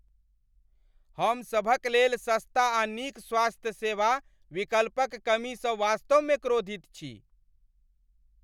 हम सभकलेल सस्ता आ नीक स्वास्थ्य सेवा विकल्पक कमीसँ वास्तवमे क्रोधित छी।